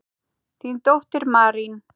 Þín dóttir, Marín.